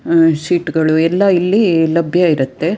ಅಹ್ sheet ಗಳು ಎಲ್ಲ ಇಲ್ಲಿ ಲಭ್ಯ ಇರುತ್ತೆ.